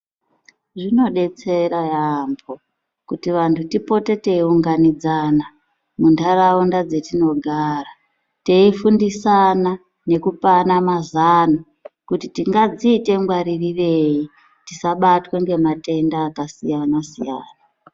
Zvinodetsera yaambo kuti vantu tipote teiunganidzana muntaraunda dzatinogara teifundisana nekupana mazano kuti tingadziite ngwaririrei tisabatwe ngematenda akasiyana-siyana.